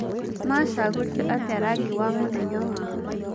Macagũrire atĩa rangi wa mũthenya wao?